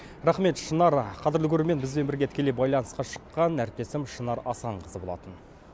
рахмет шынар қадірлі көрермен бізбен бірге тікелей байланысқа шыққан әріптесім шынар асанқызы болатын